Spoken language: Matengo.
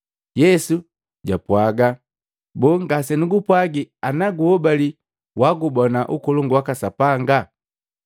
Yesu jwapwaaga, “Boo, ngasenugupwagii na guhobali wagubona ukolongu waka Sapanga?”